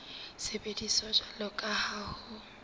sebediswa jwalo ka ha ho